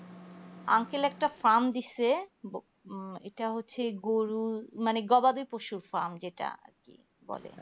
uncle একটা fam দিছে ইটা হচ্ছে গরুর মানে গবাদি পশুর fam যেটা আর কি বলে